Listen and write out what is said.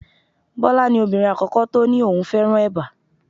Bọlá ni obìnrin àkọ́kọ́ tó ní òun fẹ́ràn eba.